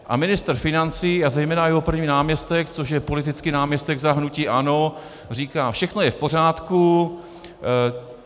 A ministr financí a zejména jeho první náměstek, což je politický náměstek za hnutí ANO, říká: "Všechno je v pořádku.